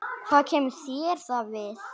Hvað kemur það þér við?